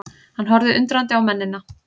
Hann horfði undrandi á mennina.